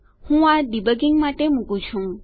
હું આ ડીબગીંગ માટે મુકું છું